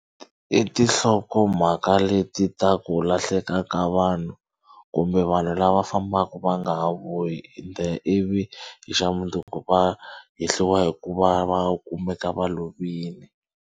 I tinhlokomhaka leti ta ku lahleka ka vanhu kumbe vanhu lava fambaka va nga ha vuyi ende ivi hi xa munduku va hehliwa hi ku va va kumeka va lovini.